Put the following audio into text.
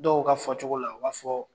Dɔw ka fɔ cogo la u b'a fɔ